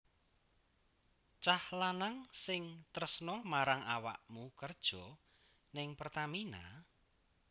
Cah lanang sing tresno marang awakmu kerjo ning Pertamina?